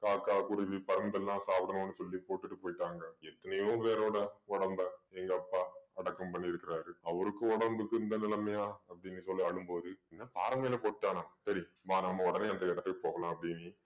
காக்கா, குருவி, பருந்தெல்லாம் சாப்பிடணும்னு சொல்லி போட்டுட்டு போயிட்டாங்க எத்தனையோ பேரோட உடம்பை எங்க அப்பா அடக்கம் பண்ணியிருக்கிறாரு அவருக்கும் உடம்புக்கும் இந்த நிலைமையா அப்படின்னு சொல்லி அழும்போது என்ன பாறை மேல போட்டான்னா சரி வா நம்ம உடனே அந்த இடத்துக்கு போகலாம் அப்படின்னு